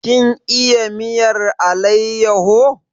Kin iya miyar alayyaho?